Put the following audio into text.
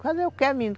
Fazer o que, menino?